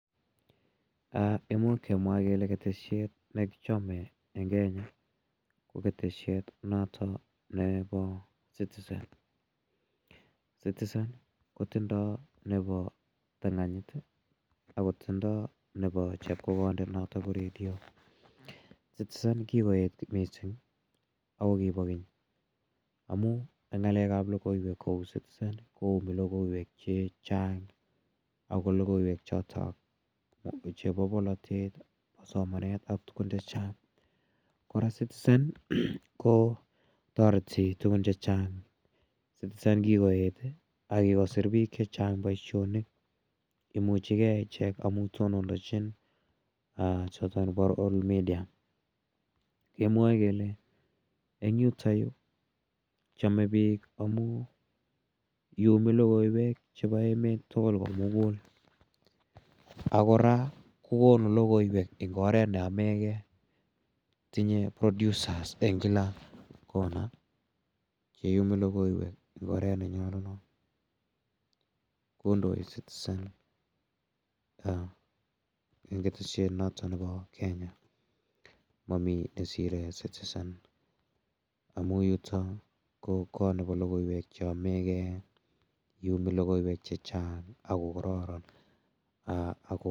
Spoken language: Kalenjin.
Imuch kemwa kele keteshet ne kichame eng' Kenya ko keteshet notok nepo Citizen. Citizen kotindai nepo tang'anyit i, ako tindai nepo chepkokondet notok ko redio. Citizen kikoet missing' ako kipa keny amu eng' ng'alek ap logoiwek kou Citizen koumi logoiwek che chang' chotok ako logoiwek chotok chepo polotet, somanet ak tugun che chang'. Kora Citizen ko tareti tugun che chang'. Citizen kikoet ako kikosir pik che chang' poishonik. Imuchi ge ichek amu tonondachin choton chepo Royal media. Kemwae kele eng' yutayu, chame pik amu iumi logoiwek chepo emet tugul ko mugul. Ak kora ko konu logoiwek eng' oret ne yame gei. Tinye producers eng' kila kona che iumi logoiwek eng' oret ne nyalunat, kondoi Citizen eng' keteshet notok nepo Kenya. Mami ne sire Citizen amu yutok ko kot nepo logoiwek che yame gei. Imumi logoiwek che chang' ako kararan.